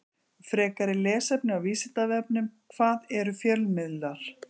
Frekara lesefni á Vísindavefnum: Hvað eru fjölmiðlar?